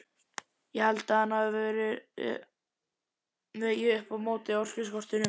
Ég held að hann hafi vegið upp á móti orkuskortinum.